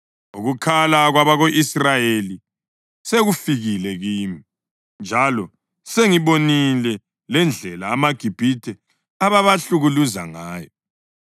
Ukukhala kwabako-Israyeli sekufikile kimi, njalo sengibonile lendlela amaGibhithe ababahlukuluza ngayo.